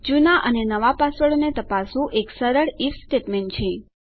જુના અને નવા પાસવર્ડોને તપાસવું એક સરળ આઇએફ સ્ટેટમેંટ છે